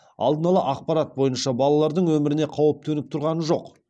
алдын ала ақпарат бойынша балалардың өміріне қауіп төніп тұрған жоқ